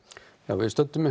við stöndum